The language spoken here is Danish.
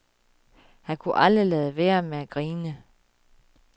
Han kunne aldrig lade være med at grine.